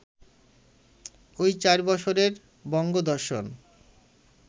ঐ চারি বৎসরের বঙ্গদর্শন